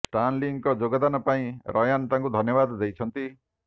Stan Link ଯୋଗଦାନ ପାଇଁ Ryan ତାଙ୍କୁ ଧନ୍ୟବାଦ ଦେଇଛନ୍ତି